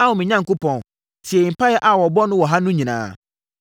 “Ao me Onyankopɔn, tie mpaeɛ a wɔbɔ no wɔ ha no nyinaa.